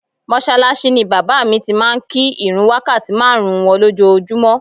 Mọ́ṣáláṣí ni bàbá mi ti máa ń kí ìrun wákàtí márùn-ún wọn lójoojúmọ́